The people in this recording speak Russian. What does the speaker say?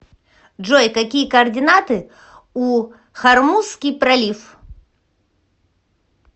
джой какие координаты у хормузский пролив